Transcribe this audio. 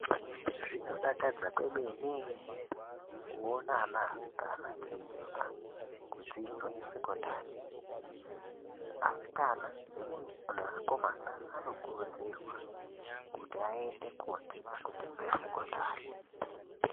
Zvinodakadza kwemweni kuwona mwanasikana veyenda kudzidzo ye sekondari. Asikana nemwanakomana vanokurudzirwa kuti vaende kodzidza kudzidzo ye sekondari.